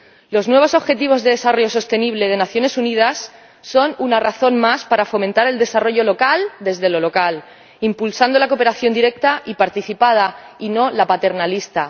Los nuevos objetivos de desarrollo sostenible de las Naciones Unidas son una razón más para fomentar el desarrollo local desde lo local, impulsando la cooperación directa y participada, y no la paternalista.